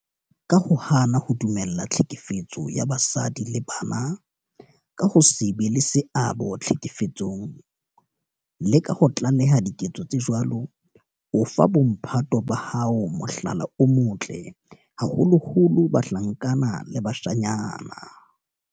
Ka ho hana ho dumella tlhekefetso ya basadi le bana, ka ho se be le seabo tlhekefetsong le ka ho tlaleha diketso tse jwalo, o fa bo mphato ba hao mohlala o motle, haholoholo bahlankana le bashanyana.